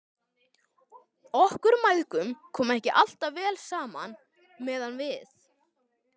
Okkur mæðgum kom ekki alltaf vel saman meðan við